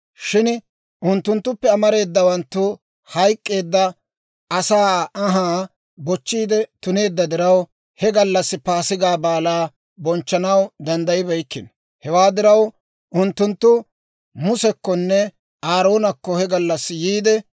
Shin unttunttuppe amareedawanttu hayk'k'eedda asaa anhaa bochchiide tuneedda diraw, he gallassi Paasigaa Baalaa bonchchanaw danddayibeykkino. Hewaa diraw, unttunttu Musekkonne Aaroonakko he gallassi yiide,